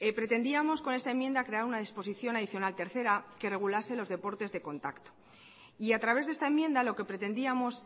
pretendíamos con esta enmienda crear una disposición adicional tercera que regulase los deportes de contacto y a través de esta enmienda lo que pretendíamos